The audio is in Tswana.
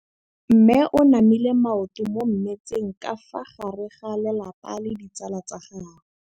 Mme o namile maoto mo mmetseng ka fa gare ga lelapa le ditsala tsa gagwe.